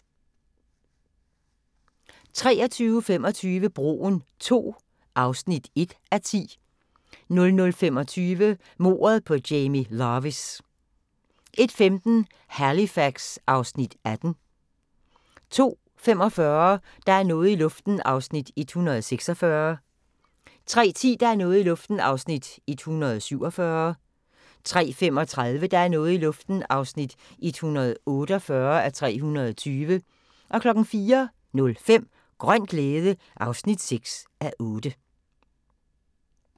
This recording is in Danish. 23:25: Broen II (1:10) 00:25: Mordet på Jamie Lavis 01:15: Halifax (Afs. 18) 02:45: Der er noget i luften (146:320) 03:10: Der er noget i luften (147:320) 03:35: Der er noget i luften (148:320) 04:05: Grøn glæde (6:8)